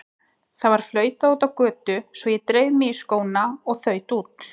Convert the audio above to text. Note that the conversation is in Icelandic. Það var flautað úti á götu svo ég dreif mig í skóna og þaut út.